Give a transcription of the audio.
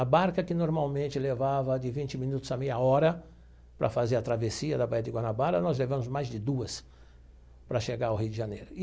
A barca que normalmente levava de vinte minutos a meia hora para fazer a travessia da Baía de Guanabara, nós levamos mais de duas para chegar ao Rio de Janeiro.